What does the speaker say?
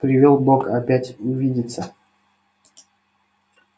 привёл бог опять увидеться